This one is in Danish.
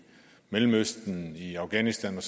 mellemøsten i afghanistan